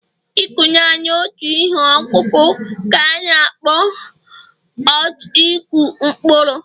ịkụ naanị otu ihe ọkụkụ ka a na-akpọ out Ịkụ mkpụrụ